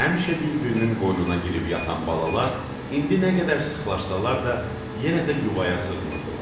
Həmişə bir-birinin qoynuna girib yatan balalar indi nə qədər sıxlaşsalar da, yenə də yuvaya sığmırdılar.